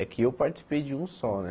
É que eu participei de um só, né?